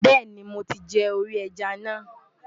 Bẹ́ẹ̀ni. mo ti jẹ orí ẹja náà.